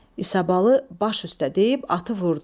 İsabalı "Baş üstə" deyib atı vurdu.